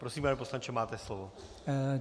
Prosím, pane poslanče, máte slovo.